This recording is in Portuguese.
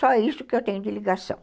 Só isso que eu tenho de ligação.